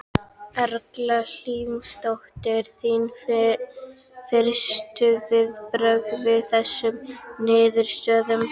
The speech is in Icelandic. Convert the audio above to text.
Erla Hlynsdóttir: Þín fyrstu viðbrögð við þessum niðurstöðum?